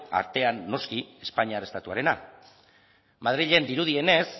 arten noski espainiar estatuarena madrilen dirudienez